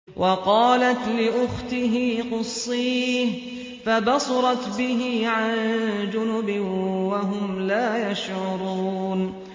وَقَالَتْ لِأُخْتِهِ قُصِّيهِ ۖ فَبَصُرَتْ بِهِ عَن جُنُبٍ وَهُمْ لَا يَشْعُرُونَ